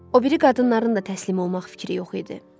O biri qadınların da təslim olmaq fikri yox idi.